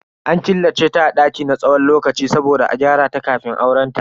An killace ta a daki na tsawon lokaci saboda a gyarata kafin aurenta.